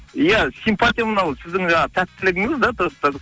иә симпатия мынау сіздің жаңағы тәттілігіңіз де